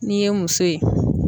N'i ye muso ye.